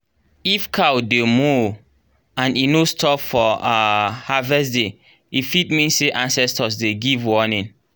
if cow dey moo and e no stop for um harvest day e fit mean say ancestors dey give warning.